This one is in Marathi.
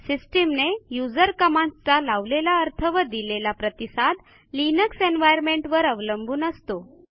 सिस्टीमने युजर कमांडस् चा लावलेला अर्थ व दिलेला प्रतिसाद लिनक्स एन्व्हायर्नमेंट वर अवलंबून असतो